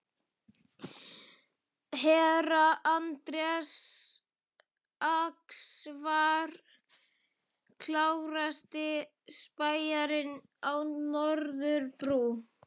Herra Anders Ax var klárasti spæjarinn á Norðurbrú.